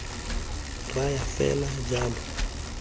raya fela jalo re tla